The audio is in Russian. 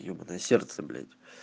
ебанное сердце блять